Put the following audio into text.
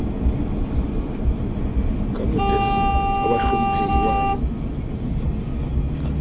ka motes wa bahlomphehi wa